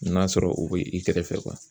N'a sɔrɔ u bɛ i kɛrɛfɛ